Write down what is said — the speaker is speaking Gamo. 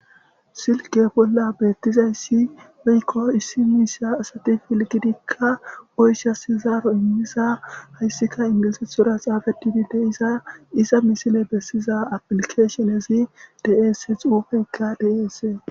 Silke bolla beetizayssi woyko issi miisha asati pilgidika oyshas zaaro immiza hayssika ingilizethora xaafetidi de'iza iza missile besiza applikeshinezi de'es xuufeyka de'es.